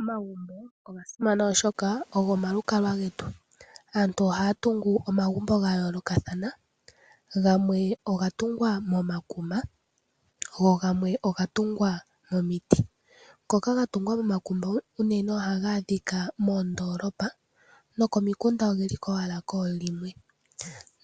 Omagumbo oga simana oshoka go omalukalwa getu. Aanu ohaa tungu omagumbo gayoolokathana, gamwe oga tungwa momakuma go gamwe oga tungwa momiti. Ngoka ga tungwa momakuma unene ohaga adhika moondoolopa, nokomikunda ogeliko owala koolimwe.